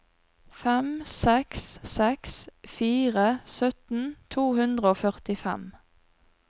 fem seks seks fire sytten to hundre og førtifem